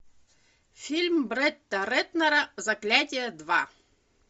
фильм бретта рэтнера заклятие два